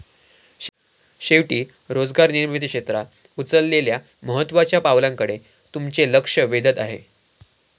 शेवटी रोजगार निर्मिती क्षेत्रात उचललेल्या महत्त्वाच्या पावलांकडे मी तुमचे लक्ष वेधत आहे.